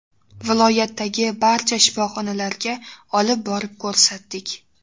Viloyatdagi barcha shifoxonalarga olib borib ko‘rsatdik.